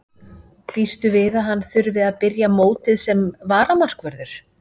Býstu við að hann þurfi að byrja mótið sem varamarkvörður?